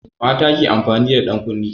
Mata ke amfani da ɗankunne.